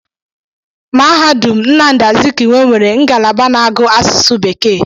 Mahadum Nnamdi Azikiwe nwere ngalaba na-agụ asụsụ bekee.